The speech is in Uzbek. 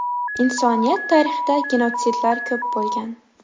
Insoniyat tarixida genotsidlar ko‘p bo‘lgan.